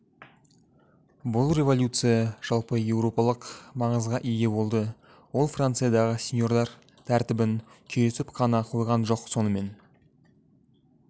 бұл революция жалпы еуропалық маңызға ие болды ол франциядағы сеньордар тәртібін күйретіп қана қойған жоқ сонымен